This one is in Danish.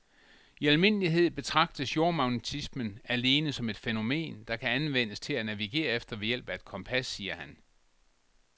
I almindelighed betragtes jordmagnetismen alene som et fænomen, der kan anvendes til at navigere efter ved hjælp af et kompas, siger han.